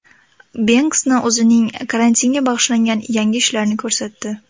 Benksi o‘zining karantinga bag‘ishlangan yangi ishlarini ko‘rsatdi .